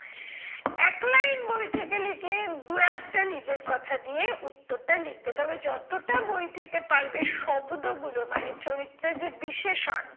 এক line বই থেকে লিখলে দু একটা নিজের কথা দিয়ে উত্তরটা লিখবে তবে যতটা বই থেকে পারবে শব্দ গুলো মানে চরিত্রের যে বিশেষণ,